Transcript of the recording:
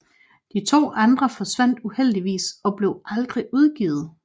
De to andre forsvandt uheldigvis og blev aldrig udgivet